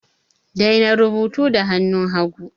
Daina rubutu da hannun hagu!